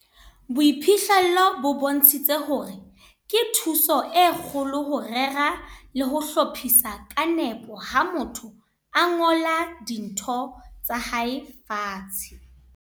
Boiphihlelo bo bontshitse hore ke thuso e kgolo ho rera le ho hlophisa ka nepo ha motho a ngola dintho tsa hae fatshe.